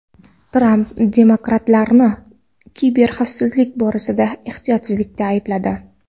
Tramp demokratlarni kiberxavfsizlik borasida ehtiyotsizlikda aybladi.